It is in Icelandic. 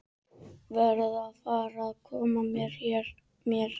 Verð að fara að koma mér.